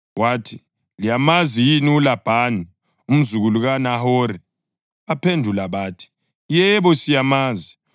Wathi, “Liyamazi yini uLabhani, umzukulu kaNahori?” Baphendula bathi, “Yebo, siyamazi.”